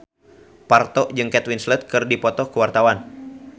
Parto jeung Kate Winslet keur dipoto ku wartawan